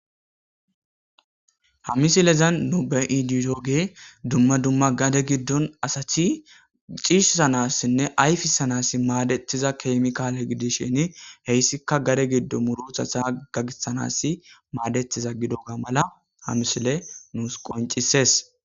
ha misilezan nube iidiyooge dumma dumma gade giddon asacthi ciishsanassinne ayfisanas maadethiza kemkaale gidishin heyssika gade giddo murutha sa gagisanas maadetiza gidoga mala ha misile nuus qoncisees